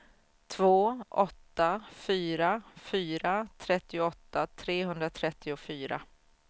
två åtta fyra fyra trettioåtta trehundratrettiofyra